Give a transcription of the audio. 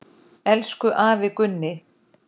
Elsku afi Gunni.